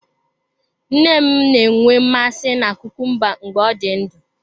Nne m na-enwe mmasị na kukumba mgbe ọ dị ndụ.